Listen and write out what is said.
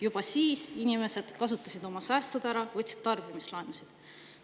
Juba siis inimesed kasutasid oma säästud ära, võtsid tarbimislaenusid.